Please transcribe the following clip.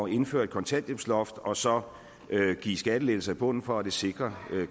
indføre et kontanthjælpsloft og så give skattelettelser i bunden for at sikre at det